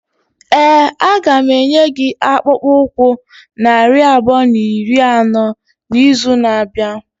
Ee, a ga m enye gị akpụkpọ ụkwụ narị abụọ na iri anọ n'izu na-abịa.